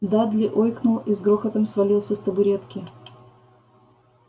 дадли ойкнул и с грохотом свалился с табуретки